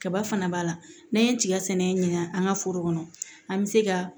Kaba fana b'a la n'an ye tiga sɛnɛ ɲina an ka foro kɔnɔ an bɛ se ka